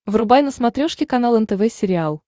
врубай на смотрешке канал нтв сериал